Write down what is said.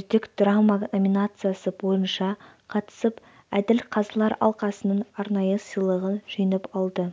үздік драма номинациясы бойынша қатысып әділ қазылар алқасының арнайы сыйлығын жеңіп алды